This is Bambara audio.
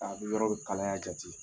A bɛ yɔrɔw kalaya jate.